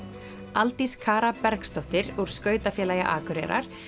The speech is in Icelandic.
Aldís Bergsdóttir úr skautafélagi Akureyrar